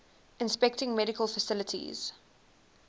inspecting medical facilities